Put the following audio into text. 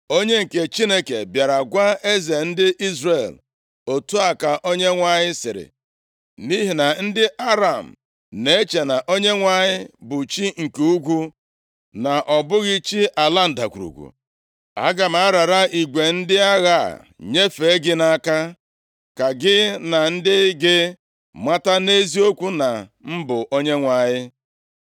Onye nke Chineke bịara gwa eze ndị Izrel, “Otu a ka Onyenwe anyị sịrị, ‘Nʼihi na ndị Aram na-eche na Onyenwe anyị bụ chi nke ugwu, na ọ bụghị chi ala ndagwurugwu, aga m arara igwe ndị agha a nyefee gị nʼaka, ka gị na ndị gị mata nʼeziokwu na m bụ Onyenwe anyị.’ ”